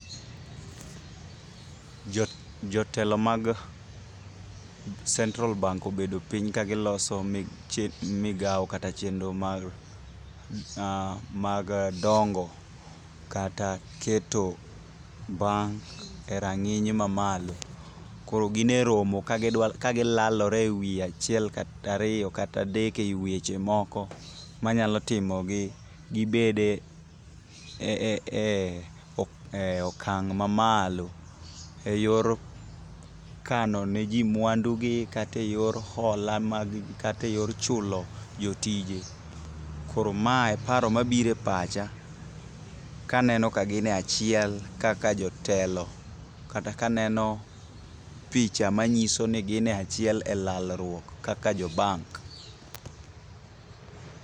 Jotelo mag Central bank obedo piny ka giloso migawo kata chenro mag dongo kata keto bank e rang'iny mamalo. Koro gin e romo ka gilalore e wi achiel kata ariyo kata adek e wi weche moko manyalo timogi gibede okang' mamalo e yor kano ne ji mwandugi kata e yor hola mag ji, kata e yor chulo jotije. Koro mae paro mabiro e pacha kaneno ka gin e achiel kaka jotelo kata ka aneno picha manyiso ni gin e achiel e lalruok kaka jo bank.